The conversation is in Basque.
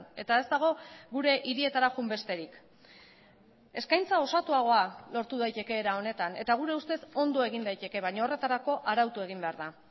eta ez dago gure hirietara joan besterik eskaintza osatuagoa lortu daiteke era honetan eta gure ustez ondo egin daiteke baina horretarako arautu egin behar da